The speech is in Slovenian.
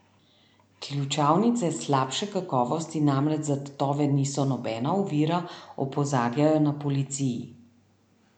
Ključavnice slabše kakovosti namreč za tatove niso nobena ovira, opozarjajo na policiji.